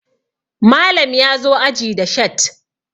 Malam ya zo aji da shat